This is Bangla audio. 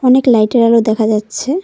অনেক লাইট -এর আলো দেখা যাচ্ছে।